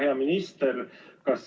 Hea minister!